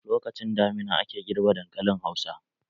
Lokacin damina ake girbe dankalin hausa.